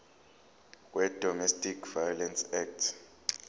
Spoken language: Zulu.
wedomestic violence act